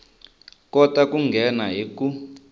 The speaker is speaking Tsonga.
kota ku nghena hi ku